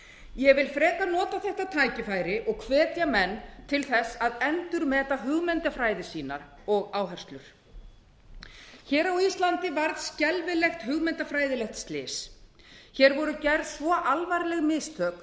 ég vil frekar nota þetta tækifæri og hvetja menn til að endurmeta hugmyndafræði sína og áherslur hér á íslandi varð skelfilegt hugmyndafræðilegt slys hér voru gerð svo alvarleg mistök